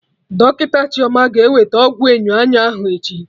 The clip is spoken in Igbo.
Dọkịta Chioma ga-eweta ọgwụ enyo anya ahụ echi